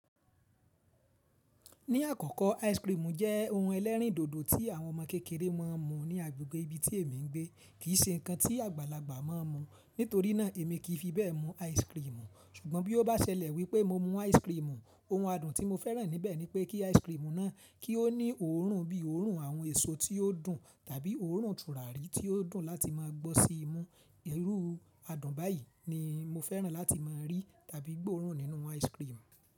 Ní àkọ́kọ́ ice cream jẹ́ ohun ẹlẹ́rìndòdò tí àwọn ọmọ kékeré máa ń mu ní agbègbè ibi tí èmi ń gbé, kì í ṣe nǹkan tí àgbàlagbà máa ń mu. Nítorí náà èmi kì í fi bẹ́ẹ̀ mu ice cream. Ṣùgbọ́n bí ó bá ṣẹlẹ̀ wípé mo mu ice cream, ohun adùn tí mo fẹ́ràn níbẹ̀ ni pé kí ice cream náà kí ó ní òórùn bí òórùn àwọn èso tí ó dùn tàbí òórùn tùràrí tí ó dùn láti máa gbọ́ sí imú. Ìrú adùn báyìí ni mo fẹ́ràn láti máa rí tàbí gbóòórùn nínú ice cream.